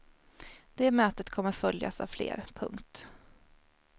Det mötet kommer att följas av fler. punkt